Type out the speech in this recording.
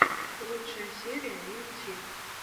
лучшая серия мин ти